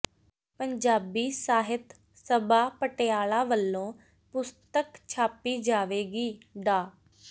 ਪੰਜਾਬੀ ਸਾਹਿਤ ਸਭਾ ਪਟਿਆਲਾ ਵੱਲੋਂ ਪੁਸਤਕ ਛਾਪੀ ਜਾਵੇਗੀ ਡਾ